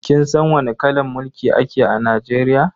Kin san wani kalan mulki ake a Najeriya?